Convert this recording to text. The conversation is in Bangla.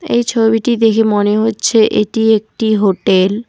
এই ছবিটি দেখে মনে হচ্ছে এটি একটি হোটেল ।